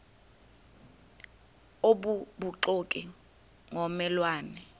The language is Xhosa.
obubuxoki ngomme lwane